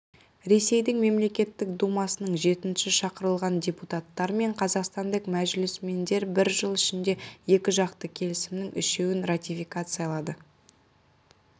ресейдің мемлекеттік думасының жетінші шақырылған депутаттары мен қазақстандық мәжілісмендер бір жыл ішінде екіжақты келісімнің үшеуін ратификациялады